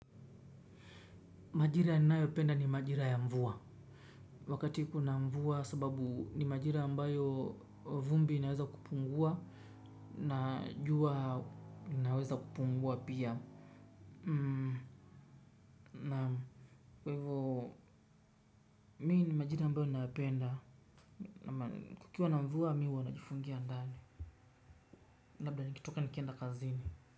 Na ni majira ya mvua wakati kuna mvua sababu ni majira ambayo vumbi inaweza kupungua na jua linaweza kupungua pia naam kwa hivo mi ni majira ambayo ninayapenda kukiwa na mvua mi huwa najifungia ndani labda nikitoka nikienda kazini.